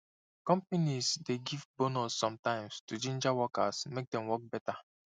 companies dey give bonus sometimes to ginger workers make dem work better